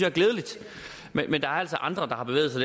er glædeligt men der er altså andre der har bevæget sig